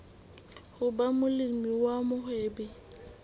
ho ba molemi wa mohwebi